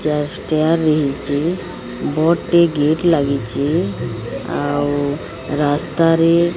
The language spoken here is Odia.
ଚାଷ୍ ଟିଆ ବି ହେଇଚି ବଡ୍ ଟେ ଗେଟ ଲାଗିଚି ଆଉ ରାସ୍ତାରେ --